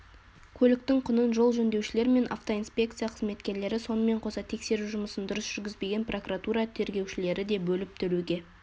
көліктің құнын жол жөндеушілер мен автоинспекция қызметкерлері сонымен қоса тексеру жұмысын дұрыс жүргізбеген прокуратура тергеушілері де бөліп төлеуге